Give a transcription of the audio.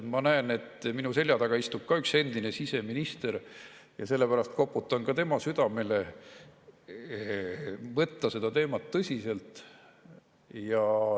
Ma näen, et minu selja taga istub ka üks endine siseminister ja sellepärast koputan ka tema südame: võtta seda teemat tõsiselt.